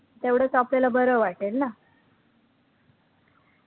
तेवढचं आपल्याला बरं वाटेल ना